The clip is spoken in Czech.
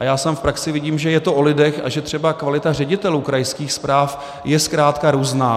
A já sám v praxi vidím, že je to o lidech a že třeba kvalita ředitelů krajských správ je zkrátka různá.